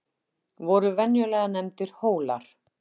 voru venjulega nefndir hólar